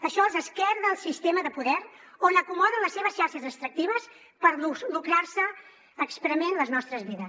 això els esquerda el sistema de poder on acomoden les seves xarxes extractives per lucrarse esprement les nostres vides